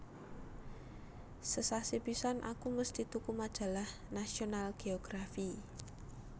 Sesasi pisan aku mesti tuku majalah National Geography